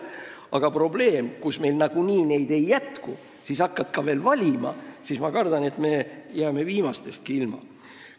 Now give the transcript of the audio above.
Aga probleem on see, et meil ei jätku neid nagunii, ja kui hakata veel valima, siis ma kardan, et me jääme viimastestki ilma.